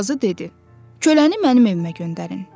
Qazı dedi: “Köləni mənim evimə göndərin.